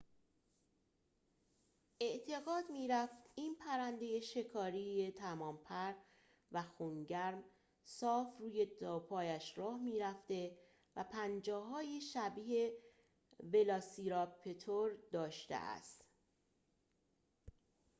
اعتقاد می‌رفت این پرنده شکاری تمام‌پر و خون‌گرم صاف روی دوپایش راه می‌رفته و پنجه‌هایی شبیه ولاسیراپتور داشته است